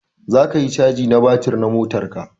Sai ka yi caji na batir na motar ka.